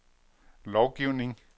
lovgivning